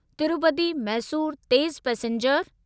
तिरुपति मैसूर तेज़ पैसेंजर